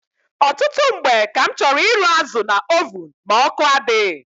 Ọtụtụ mgbe ka m chọrọ ịrụ azụ na ovun ma ọkụ adịghị.